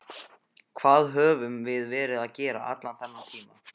Hvað höfum við verið að gera allan þennan tíma?